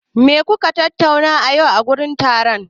Me kuka tattauna yau a wurin taron?